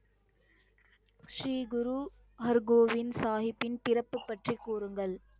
ஸ்ரீ குரு ஹர் கோவிந்த் சாஹிப்பின் பிறப்பு பற்றி கூறுங்கள்?